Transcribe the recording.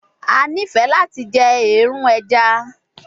A nifẹ lati jẹ eerun ẹja